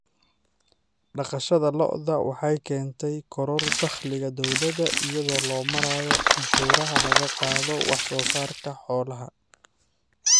Dhaqashada lo'da lo'da waxay keentay koror dakhliga dowladda iyadoo loo marayo canshuuraha laga qaado wax soo saarka xoolaha.